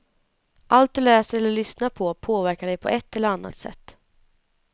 Allt du läser eller lyssnar på, påverkar dig på ett eller annat sätt.